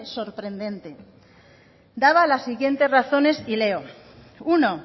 sorprendente daba las siguientes razones y leo uno